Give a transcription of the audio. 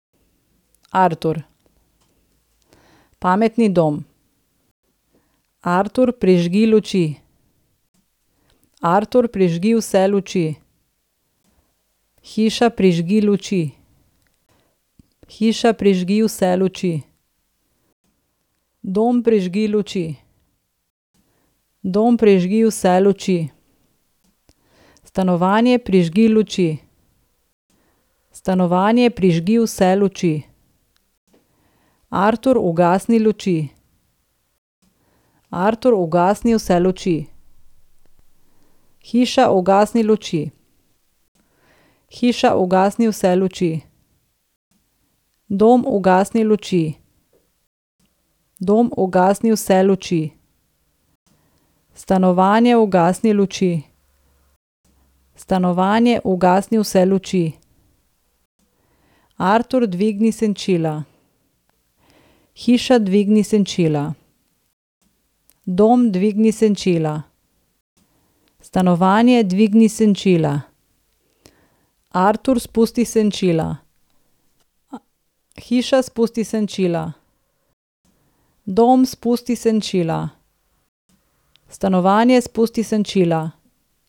Artur. Pametni dom. Artur, prižgi luči. Artur, prižgi vse luči. Hiša, prižgi luči. Hiša, prižgi vse luči. Dom, prižgi luči. Dom, prižgi vse luči. Stanovanje, prižgi luči. Stanovanje, prižgi vse luči. Artur, ugasni luči. Artur, ugasni vse luči. Hiša, ugasni luči. Hiša, ugasni vse luči. Dom, ugasni luči. Dom, ugasni vse luči. Stanovanje, ugasni luči. Stanovanje, ugasni vse luči. Artur, dvigni senčila. Hiša, dvigni senčila. Dom, dvigni senčila. Stanovanje, dvigni senčila. Artur, spusti senčila. Hiša, spusti senčila. Dom, spusti senčila. Stanovanje, spusti senčila.